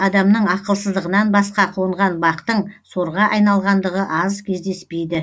адамның ақылсыздығынан басқа қонған бақтың сорға айналғандығы аз кездеспейді